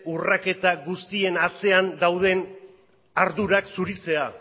urraketa guztien artean dauden ardurak zuritzea